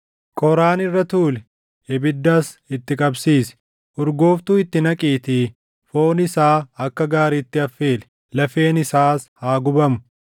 Qoraan irra tuuli; ibiddas itti qabsiisi. Urgooftuu itti naqiitii foon isaa akka gaariitti affeeli; lafeen isaas haa gubamu.